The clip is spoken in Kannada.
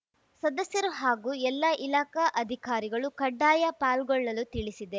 ಸದಸ್ಯರು ಹಾಗೂ ಎಲ್ಲಾ ಇಲಾಖಾ ಅಧಿಕಾರಿಗಳು ಕಡ್ಡಾಯ ಪಾಲ್ಗೊಳ್ಳಲು ತಿಳಿಸಿದೆ